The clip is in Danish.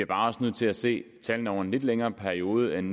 bare nødt til at se tallene over en lidt længere periode end